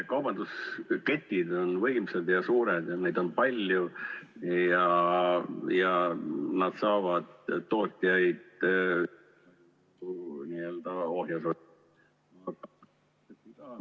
Kaubandusketid on võimsad ja suured ja neid on palju ja nad saavad tootjaid n-ö ohjeldada.